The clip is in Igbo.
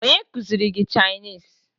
Onye kụziri gị Chinịse?